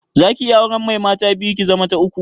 Zaki iya auren mai mata biyu, ki zama ta uku?